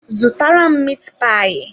Zụtara m miit paayi